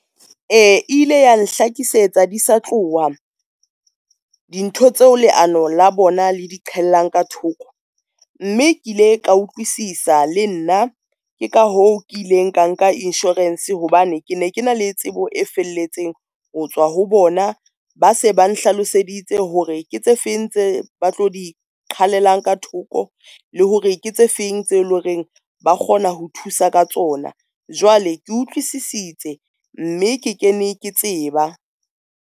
E, ile ya nhlakisetsa di sa tloha, dintho tseo leano la bona le di qhellang ka thoko mme ke ile ka utlwisisa le nna, ke ka hoo ke ileng ka nka insurance hobane ke ne ke na le tsebo e felletseng ho tswa ho bona. Ba se ba nhlaloseditse hore ke tse feng tse ba tlo di qhalella ka thoko, le hore ke tse feng tse le horeng ba kgona ho thusa ka tsona. Jwale ke utlwisisitse, mme ke kene ke tseba.